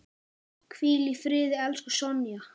Hvíl í friði, elsku Sonja.